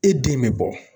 E den bɛ bɔ